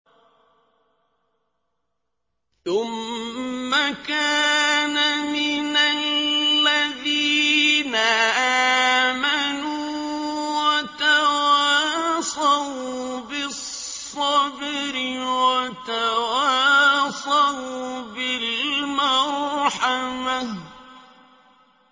ثُمَّ كَانَ مِنَ الَّذِينَ آمَنُوا وَتَوَاصَوْا بِالصَّبْرِ وَتَوَاصَوْا بِالْمَرْحَمَةِ